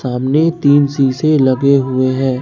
सामने तीन शीशे लगे हुए हैं।